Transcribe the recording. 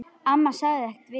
Amma sagði ekkert við því.